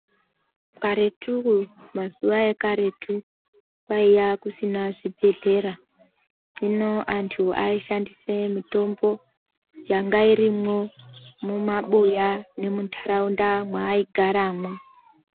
Karetu mazuva ekaretu kwaiya kusina zvibhedhlera. Hino antu aishandise mitombo yanga irimwo mumaboya nemuntaraunda mwaaigaramwo.